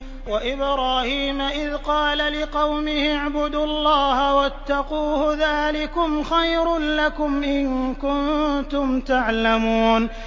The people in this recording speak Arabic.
وَإِبْرَاهِيمَ إِذْ قَالَ لِقَوْمِهِ اعْبُدُوا اللَّهَ وَاتَّقُوهُ ۖ ذَٰلِكُمْ خَيْرٌ لَّكُمْ إِن كُنتُمْ تَعْلَمُونَ